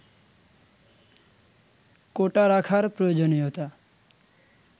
কোটা রাখার প্রয়োজনীয়তা